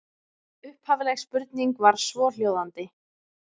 Upphafleg spurning var svohljóðandi: